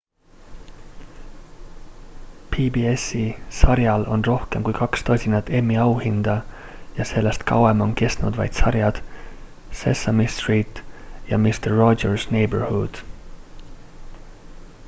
pbs-i sarjal on rohkem kui kaks tosinat emmy auhinda ja sellest kauem on kestnud vaid sarjad sesame street ja mister rogers' neighborhood